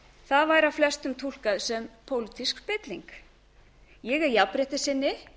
það væri af flestum túlkað sem pólitísk spilling ég er jafnréttissinni